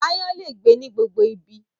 Aáyán lè gbé ní gbogbo ibi